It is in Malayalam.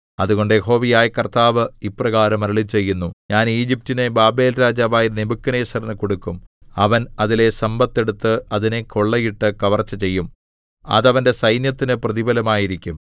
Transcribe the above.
അതുകൊണ്ട് യഹോവയായ കർത്താവ് ഇപ്രകാരം അരുളിച്ചെയ്യുന്നു ഞാൻ ഈജിപ്റ്റിനെ ബാബേൽരാജാവായ നെബൂഖദ്നേസരിനു കൊടുക്കും അവൻ അതിലെ സമ്പത്ത് എടുത്ത് അതിനെ കൊള്ളയിട്ട് കവർച്ച ചെയ്യും അത് അവന്റെ സൈന്യത്തിനു പ്രതിഫലമായിരിക്കും